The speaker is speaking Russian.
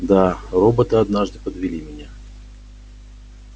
да роботы однажды подвели меня